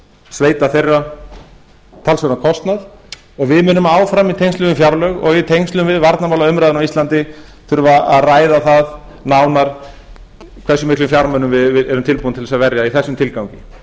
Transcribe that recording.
sveita þeirra talsverðan kostnað og við munum áfram í tengslum við fjárlög og í tengslum við varnarmálaumræðuna á íslandi þurfa að ræða það nánar hversu miklum fjármunum við erum tilbúin til að að verja í þessum tilgangi